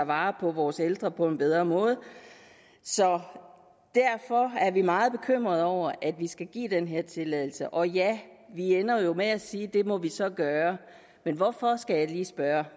vare på vores ældre på en bedre måde så derfor er vi meget bekymrede over at vi skal give den her tilladelse og ja vi ender jo med at sige at det må vi så gøre men hvorfor skal jeg lige spørge